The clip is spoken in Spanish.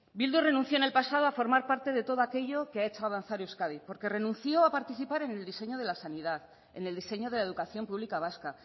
bildu renunció en el pasado a formar parte de todo aquello que ha hecho avanzar euskadi porque renunció a participar en el diseño de la sanidad en el diseño de la educación pública vasca